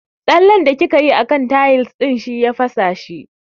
Tsallen da kikayi a kan tayis ɗin shi ya fasa shi